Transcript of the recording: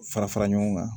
Fara fara ɲɔgɔn kan